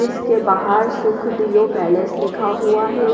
इसके बाहर सुख दियो पैलेस लिखा हुआ है।